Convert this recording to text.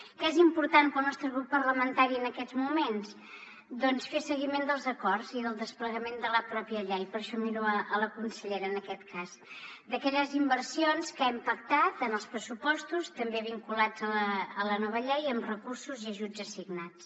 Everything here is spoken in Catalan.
què és important per al nostre grup parlamentari en aquests moments doncs fer seguiment dels acords i del desplegament de la pròpia llei per això miro la consellera en aquest cas d’aquelles inversions que hem pactat en els pressupostos també vinculats a la nova llei amb recursos i ajuts assignats